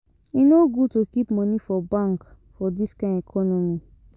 E no good to keep moni for bank for dis kain economy.